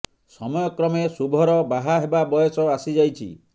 ସମୟ କ୍ରମେ ଶୁଭର ବାହା ହେବା ବୟସ ଆସି ଯାଇଛି